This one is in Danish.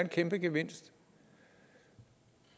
kæmpegevinst